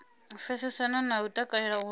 pfesesana na u takalela uri